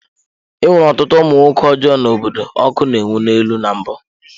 E nwere ọtụtụ ụmụ nwoke ọjọọ n’obodo ọkụ na-enwu n'elu na mbụ.